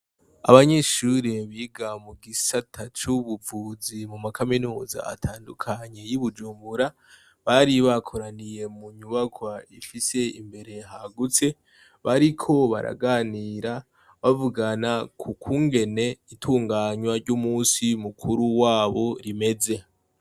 Abanyeshuri biga mu gisata c'ubuvuzi mu makaminuza atandukanye y'i Bujumbura, bari bakoraniye mu nyubakwa ifise imbere hagutse bariko baraganira, bavugana ku kungene itunganywa ry'umunsi mukuru wabo rimeze.